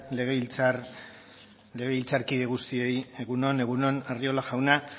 legebiltzarkide guztioi egun on egun on arriola jauna